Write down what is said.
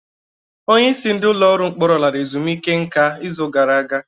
Onyeisi ndị ọrụ ụlọ mkpọrọ lara ezumike nká izu gara aga.